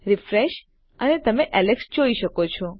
refresh અને તમે Alex જોઈ શકો છો